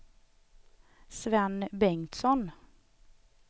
Sven Bengtsson